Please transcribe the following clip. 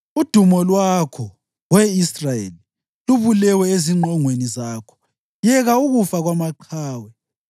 “Udumo lwakho, We Israyeli, lubulewe ezingqongweni zakho. Yeka ukufa kwamaqhawe!